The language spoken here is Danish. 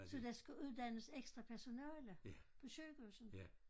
Så der skulle uddannes ekstra personale på sygehuset